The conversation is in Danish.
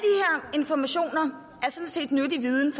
informationer er sådan set nyttig viden